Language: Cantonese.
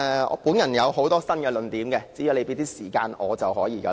我有很多新論點，只要你給予時間便可。